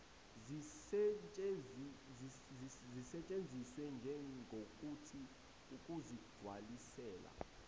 zisetshenziswe njegokuthi ukuzigcwalisela